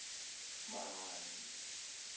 mahangi